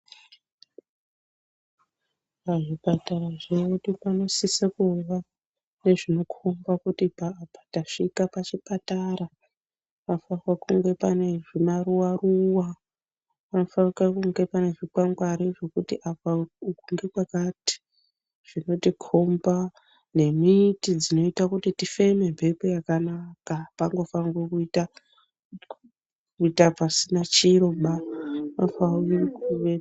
Pazvipatara zvedu panosisa kuva nezvinokhomba kuti apa apa tasvika pachipatara. Panofanirwa kunga pane zvimaruwa ruwa. Panofanika kunga pane zvikwangwari zvekuti apa uku ndekwakati zvinotikhomba. Nemiti dzinoita kuti tifeme mhepo yakanaka. Apangofanirwi kuita pasina chiro ba. Panofanirwa kuve.